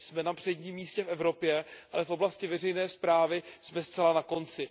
Jsme na předním místě v Evropě, ale v oblasti veřejné správy jsme zcela na konci.